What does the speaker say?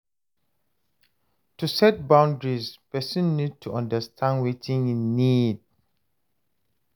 To set boundries person need to understand wetin im need